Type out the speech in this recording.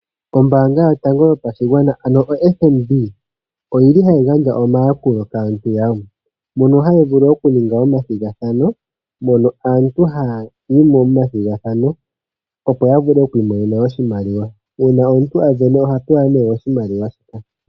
Ombaanga yotango yopashigwana ano oFNB oyi li hayi gandja omayakulo kaantu yawo, mono haya vulu okuninga omathigathano mono aantu haya yi momathigathano, opo ya vule oku imonena oshimaliwa. Uuna omuntu a sindana oha pewa nee oshimaliwa.